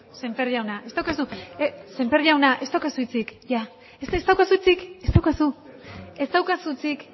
sémper jauna ez daukazu sémper jauna ez daukazu hitzik ez daukazu hitzik